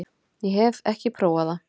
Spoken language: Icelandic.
Ég hef ekki prófað það.